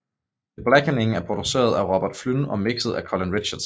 The Blackening er produceret af Robert Flynn og mixet af Colin Richardson